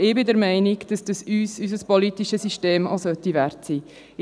Aber ich bin der Meinung, dass unser politisches System uns dies Wert sein soll.